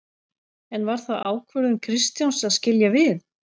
En var það ákvörðun Kristjáns að skilja við?